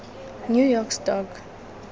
new york stock